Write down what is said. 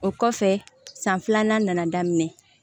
O kɔfɛ san filanan nana daminɛ